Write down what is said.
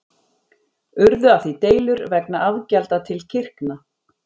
Urðu af því deilur vegna afgjalda til kirkna.